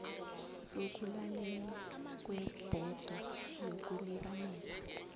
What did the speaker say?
sokulalelwa kwebhodo yokulibalela